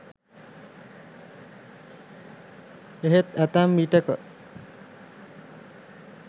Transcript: එහෙත් ඇතැම් විටෙක